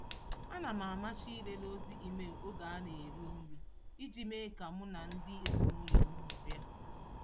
Ana m amachi ịlele ozi email oge a na-eri nri iji mee ka mụ na ndị ezinụụlọ m nọrịa.